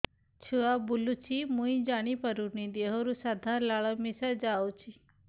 ଛୁଆ ବୁଲୁଚି ମୁଇ ଜାଣିପାରୁନି ଦେହରୁ ସାଧା ଲାଳ ମିଶା ଯାଉଚି